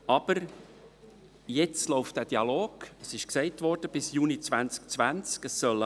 Aber jetzt läuft der Dialog – es ist gesagt worden – bis Juni 2020.